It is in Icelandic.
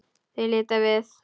Þau líta við.